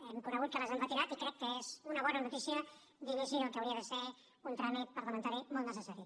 hem conegut que les han retirat i crec que és una bona notícia d’inici del que hauria de ser un tràmit parlamentari molt necessari